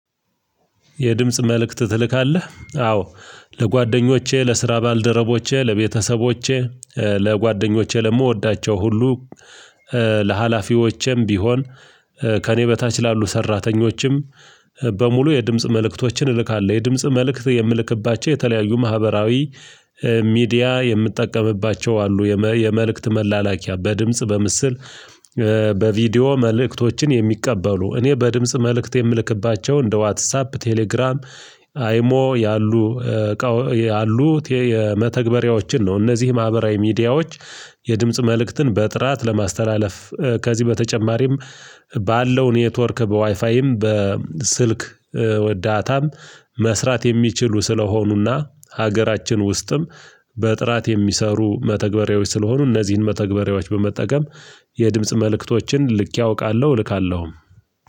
የድምጽ መልእክት ትልካለህ? አዎ ለጓደኞቼ ለስራ ባልደረቦቼ ለቤተሰቦቼ ለጓደኞቼ ለምወዳቸው ሁሉ ለሀላፊዎቼም ቢሆን ከእኔ በታች ላሉ ሰራተኞችም በሙሉ የድምጽ መልእክቶችን እልካለሁ የድምጽ መልእክት የምልክባቸው የተለያዩ ማህበራዊ ሚዲያ የምትጠቀምባቸው አሉ የመልእክት መላላኪያ በድምጽ በምስል በቪዲዮ መልእክቶችን የሚቀበሉ እኔ በድምጽ መልእክት የምልክባቸው እንደ ዋትሳፕ ቴሌግራም አይሞ ያሉ ያሉት የመተግበሪያዎችን ነው እነዚህ ማህበራዊ ሚዲያዎች የድምጽ መልእክትን በጥራት ለማስተላለፍ ከዚህ በተጨማሪም ባለው ኔትወርክ በዋይፋይም በስልክ ዳታም መስራት የሚችሉ ስለሆኑና ሀገራችን ውስጥም በጥራት የሚሰሩ መተግበሪያዎች ስለሆኑ እነዚህን መተግበሪያዎች በመጠቀም የድምጽ መልእክቶችን ልኬ አውቃለሁ እልካለሁም።